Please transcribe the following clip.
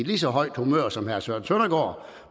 lige så højt humør som herre søren søndergaard